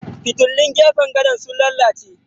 Fitilun gefen gadon sun lalace.